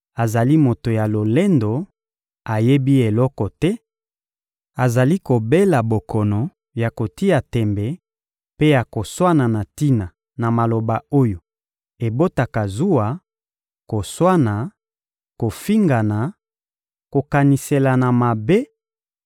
azali moto na lolendo, ayebi eloko te, azali kobela bokono ya kotia tembe mpe ya koswana na tina na maloba oyo ebotaka zuwa, koswana, kofingana, kokaniselana mabe